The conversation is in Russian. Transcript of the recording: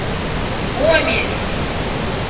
гомель